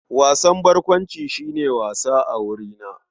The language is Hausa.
Wasan barkwanci shi ne wasa a wurina.